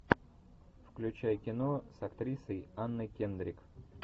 включай кино с актрисой анной кендрик